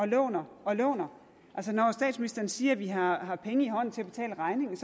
låner og låner når statsministeren siger at vi har penge i hånden til at betale regningen